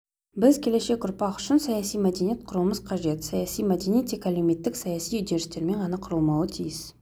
біз келешек ұрпақ үшін саяси мәдениет құруымыз қажет саяси мәдениет тек әлеуметтік-саяси үдерістермен ғана құрылмауы тиіс